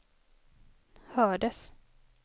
hördes